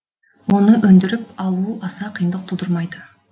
оны өндіріп алу аса қиындық тудырмайды